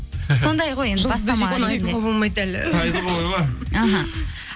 сондай ғой енді бастама ән аха